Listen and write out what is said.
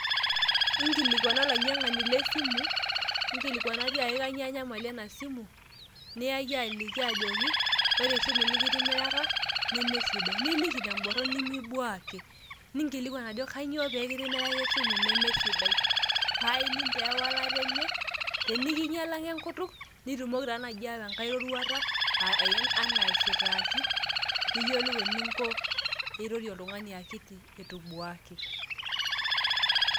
Inkilikuana olainy'iang'ani le esimu, inkilikuana tiaki kainyioo enyamali ena simu niyaki aliki ajoki ore esimu nikitimiraka nemesidai, niliki te emborron nimibuaki, ninkilikuan ajo kainyioo peekitimiraka esimu nemesidai. Paa ining' taa ewalata enye, tenikinyialaka enkutuk nitumoki taa naaji ayawa enkai roruata enaa aisitaaki. Niyiolou eninko pee irorie oltung'ani akiti itu ibuaki.